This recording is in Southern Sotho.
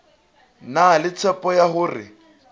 na le tshepo ya hore